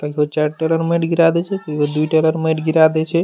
कहियो चार टेलर मेट गिड़ा देय छै कहियो दू टेलर मेट गिरा देय छै।